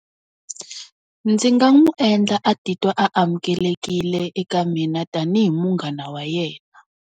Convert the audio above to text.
Ndzi nga n'wi endla a titwa amukelekile eka mina tanihi munghana wa yena.